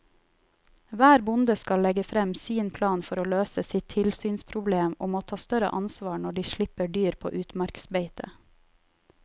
Hver bonde skal legge frem sin plan for å løse sitt tilsynsproblem og må ta større ansvar når de slipper dyr på utmarksbeite.